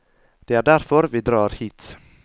Det er derfor vi drar hit.